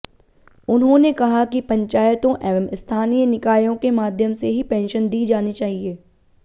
उन्होंने कहा कि पंचायतों एवं स्थानीय निकायों के माध्यम से ही पेंशन दी जानी चाहिए